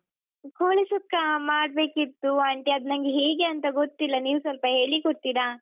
ಕೋಳಿ ಸುಕ್ಕಾ ಮಾಡ್ಬೇಕಿತ್ತು aunty ಅದ್ ನಂಗೆ ಹೇಗೇಂತ ಗೊತ್ತಿಲ್ಲ ನೀವ್ ಸ್ವಲ್ಪ ಹೇಳಿಕೊಡ್ತಿರಾ?